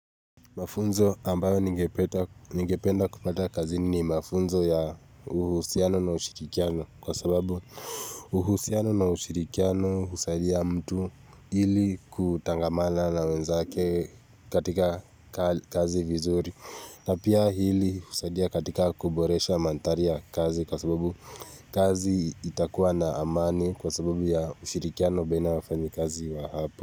Mafunzo ambayo ningependa kupata kazini ni mafunzo ya uhusiano na ushirikiano kwa sababu uhusiano na ushirikiano husaidia mtu ili kutangamana na wenzake katika kazi vizuri na pia hili husaidia katika kuboresha mandhari ya kazi kwa sababu kazi itakuwa na amani kwa sababu ya ushirikiano baina wafanyakazi wa hapo.